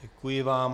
Děkuji vám.